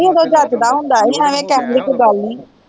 ਨਹੀਂ ਓਦੋ ਜੱਚਦਾ ਹੁੰਦਾ ਹੀ ਇਵੇ ਕਹਿਣ ਦੀ ਕੋਈ ਗੱਲ ਨੀ